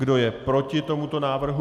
Kdo je proti tomuto návrhu?